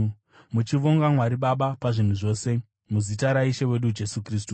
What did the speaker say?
muchivonga Mwari Baba pazvinhu zvose, muzita raIshe wedu Jesu Kristu.